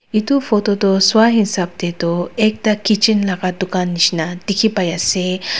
etu photo tu sua hisab te to ekta kitchen laga dukan nishina dekhi pai ase.